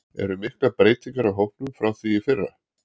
Eru miklar breytingar á hópnum frá því í fyrra?